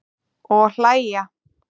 Og hlæja.